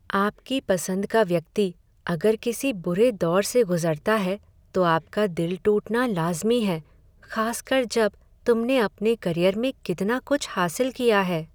आपकी पसंद का व्यक्ति अगर किसी बुरे दौर से गुज़रता है, तो आपका दिल टूटना लाज़मी है, खासकर जब तुमने अपने करियर में कितना कुछ हासिल किया है।